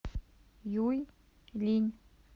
юйлинь